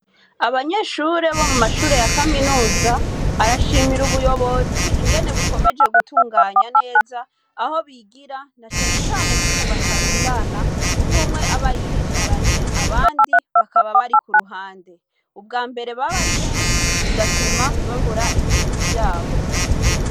Abanyeshure bo mu mashure ya kaminuza, arashimira ubuyobozi ingene bukomeje gutunganya neza aho bigira na cane cane ko ubu batarundana umwe umwe aba yiyicaranye, abandi bakaba bari k'uruhande, ubwa mbere baba ari benshi bigatuma bavura ibintu vyabo.